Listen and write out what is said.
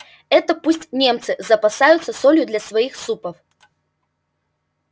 это пусть немцы запасаются солью для своих супов